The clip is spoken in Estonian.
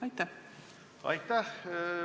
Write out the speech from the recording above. Aitäh!